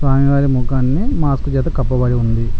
స్వామివారి ముఖాన్ని ఒక మాస్క్ చేత కప్పబడి ఉంది.